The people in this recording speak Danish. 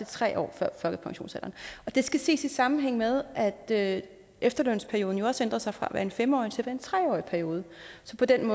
tre år før folkepensionsalderen og det skal ses i sammenhæng med at efterlønsperioden jo også ændrer sig fra at være en fem årig til at være en tre årig periode så på den